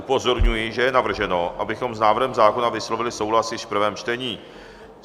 Upozorňuji, že je navrženo, abychom s návrhem zákona vyslovili souhlas již v prvém čtení.